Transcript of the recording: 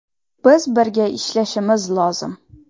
Biz birga ishlashimiz lozim.